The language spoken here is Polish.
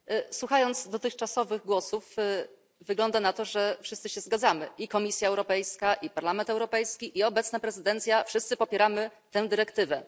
Według dotychczasowych głosów wygląda na to, że wszyscy się zgadzamy i Komisja Europejska, i Parlament Europejski, i obecna prezydencja wszyscy popieramy tę dyrektywę.